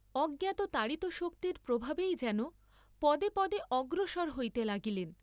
অজ্ঞাত তাড়িতশক্তির প্রভাবেই যেন পদে পদে অগ্রসর হইতে লাগিলেন।